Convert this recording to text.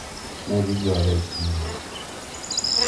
negigore e chiro